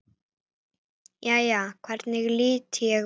Jæja, hvernig lít ég út?